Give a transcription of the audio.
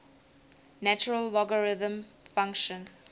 natural logarithm function